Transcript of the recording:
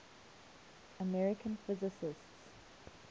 american physicists